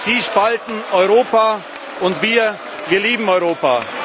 Sie spalten Europa, und wir lieben Europa.